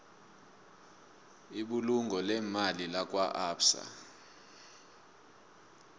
ibulungo leemali lakwaabsa